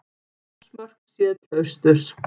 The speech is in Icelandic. Þórsmörk séð til austurs.